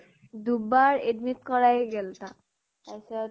দুবাৰ admit কৰায়ে গেল তাক । তাৰপিছত